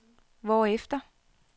hvorefter